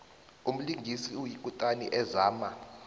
umlingisi oyikutani azama